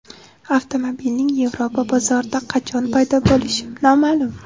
Avtomobilning Yevropa bozorida qachon paydo bo‘lishi noma’lum.